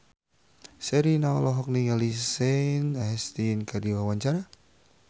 Sherina olohok ningali Sean Astin keur diwawancara